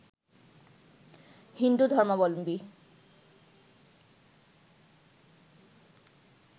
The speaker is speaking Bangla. হিন্দু ধর্মালম্বী